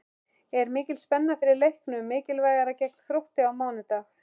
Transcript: Er mikil spenna fyrir leiknum mikilvæga gegn Þrótti á mánudag?